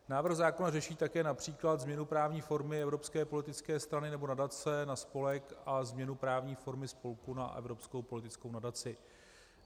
Návrh zákona řeší také například změnu právní formy evropské politické strany nebo nadace na spolek a změnu právní formy spolku na evropskou politickou nadaci.